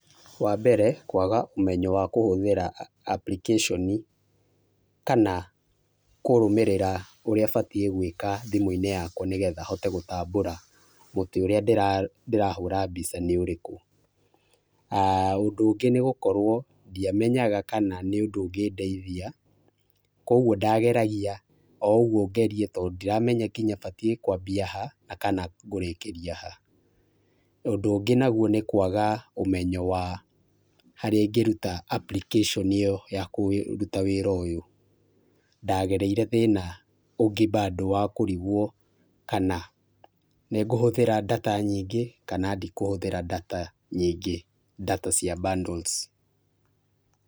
Wambere kwaga ũmenyo wa kũhũthĩra application kana kũrũmĩrĩra ũrĩa ũbatiĩ gwĩka thimũ-inĩ yakwa nĩgetha hote gũtambũra mũtĩ ũrĩa ndĩrahũra mbica nĩ ũrĩkũ, ũndũ ũngĩ nĩ gũkorwo ndĩamenyaga kana nĩ ũndũ ũngĩ ndeithĩa kwoguo ndĩamenyaga batiĩ kwambĩa kana ngũrĩkĩria ha, ũndũ ũngĩ nagũo nĩ kwaga ũmenyo wa harĩa ĩngĩrũta application ĩyo ya kũrũta wĩra ũyũ ,ndagereire thĩna ũngi[bado] wa kũrigwo kana nĩngũhũthĩra [data] nyingĩ kana ndĩkũhũthĩra [data] nyingĩ [data] cia bundles.